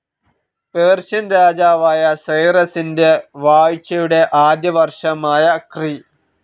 Persian രാജാവായ സൈറസിന്റെ വാഴ്ചയുടെ ആദ്യവർഷമായ ക്രി.